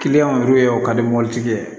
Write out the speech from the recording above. o ka di mɔbili tigi ye